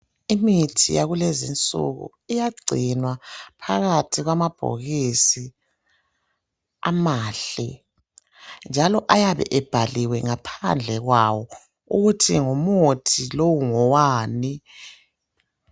Imithi yakulezi insuku iyagcinwa phakathi kwamabhokisi amahle, njalo ayabe abhaliwe ngaphandle kwawo ukuthi ngumuthi lowu ngowani.